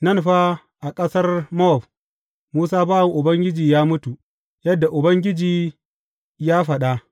Nan fa, a ƙasar Mowab Musa bawan Ubangiji ya mutu, yadda Ubangiji ya faɗa.